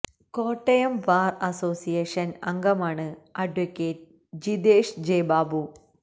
Kottayam bar association അംഗമാണ് adv Jithesh J Babu